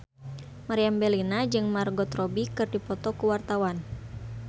Meriam Bellina jeung Margot Robbie keur dipoto ku wartawan